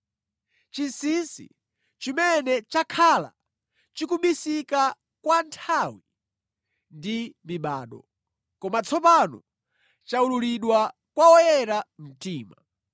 chinsinsi chimene chakhala chikubisika kwa nthawi ndi mibado, koma tsopano chawululidwa kwa oyera mtima.